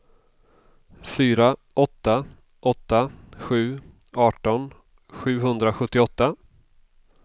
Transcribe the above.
fyra åtta åtta sju arton sjuhundrasjuttioåtta